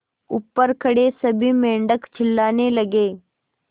ऊपर खड़े सभी मेढक चिल्लाने लगे